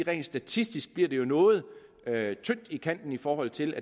rent statistisk bliver det noget tyndt i kanten i forhold til